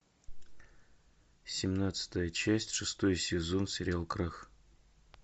семнадцатая часть шестой сезон сериал крах